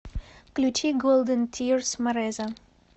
включи голден тирс мореза